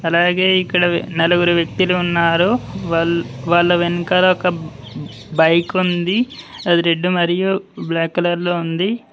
అలాగే ఇక్కడ నలుగురు వ్యక్తులు ఉన్నారు వాళ్ళు వాళ్ళ వెనకాల ఒక బైక్ ఉంది అది రెడ్ మరియు బ్లాక్ కలర్ లో ఉంది.